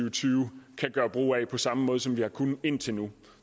og tyve kan gøre brug af på samme måde som vi har kunnet indtil nu